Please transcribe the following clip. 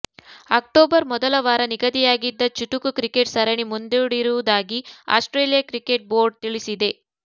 October ಮೊದಲ ವಾರ ನಿಗದಿಯಾಗಿದ್ದ ಚುಟುಕು ಕ್ರಿಕೆಟ್ ಸರಣಿ ಮುಂದೂಡಿರುವುದಾಗಿ ಆಸ್ಟ್ರೇಲಿಯಾ ಕ್ರಿಕೆಟ್ ಬೋರ್ಡ್ ತಿಳಿಸಿದೆ